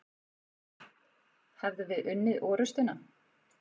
Hefðum við unnið orustuna?